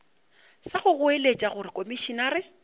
sa go goeletša gore komišenare